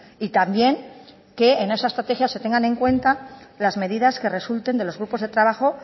y también que en esa estrategia se tengan en cuenta las medidas que resulten de los grupos de trabajo